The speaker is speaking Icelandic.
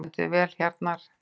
Þú stendur þig vel, Hjarnar!